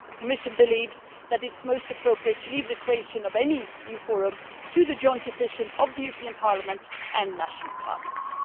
The Commission believes that it is most appropriate to leave the creation of any new forum to the joint decision of the European Parliament and national parliaments.